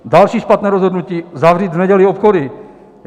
Další špatné rozhodnutí - zavřít v neděli obchody.